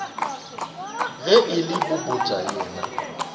ge e le popota yena